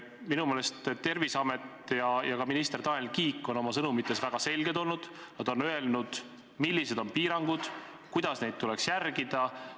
Minu meelest Terviseamet ja ka minister Tanel Kiik on oma sõnumites väga selged olnud, nad on öelnud, millised on piirangud, kuidas neid tuleks järgida.